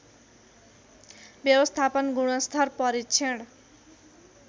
व्यवस्थापन गुणस्तर परीक्षण